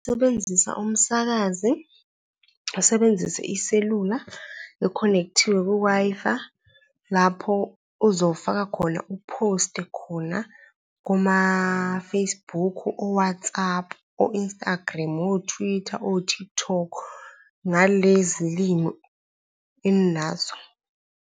Usebenzisa umsakazi, usebenzise iselula e-connect-iwe ku-Wi-Fi lapho uzofaka khona u-post-e khona kuma-Facebook, o-WhatsApp, o-Instagram, o-Twitter, o-TikTok, ngalezi limi eninazo.